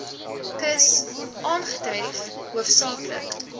kus aangetref hoofsaaklik